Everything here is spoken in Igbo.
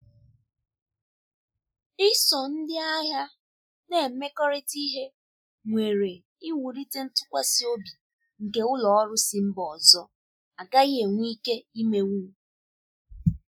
Iso ndi ahịa na-emekọrịta ihe nwere iwụlite ntụkwasi obi nke ụlọ ọrụ si mba ọzọ agaghị enwe ike imenwụ.